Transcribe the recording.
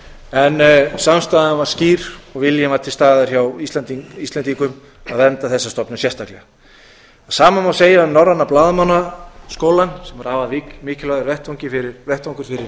en samstaðan var skýr og viljinn var til staðar hjá íslendingum að vernda þessa stofnun sérstaklega það sama má segja um norræna blaðamannaskólann sem er afar mikilvægur vettvangur fyrir